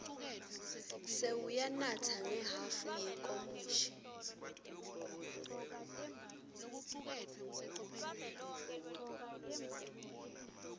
sewuyanatsa ngehhafu yenkomishi